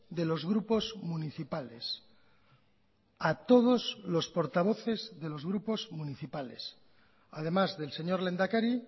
de los grupos municipales a todos los portavoces de los grupos municipales además del señor lehendakari